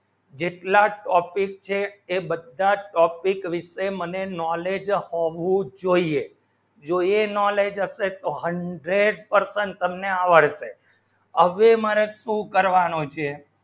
જેટલા topic છે એ બધા topic વિષે મને knowledge હોવું જોઈએ જો એ knowledge અસે તો hundred percent તમને આવશે